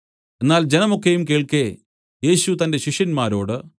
എന്നാൽ ജനം ഒക്കെയും കേൾക്കെ യേശു തന്റെ ശിഷ്യന്മാരോട്